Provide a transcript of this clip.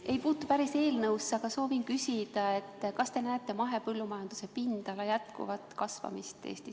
See ei puutu päris eelnõusse, aga soovin küsida, kas te näete mahepõllu pindala jätkuvat kasvamist Eestis.